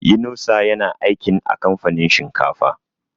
Inusa ya na aikin a kamfanin shinkafa